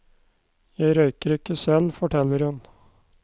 Jeg røyker ikke selv, forteller hun.